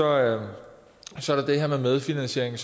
er der det her med medfinansiering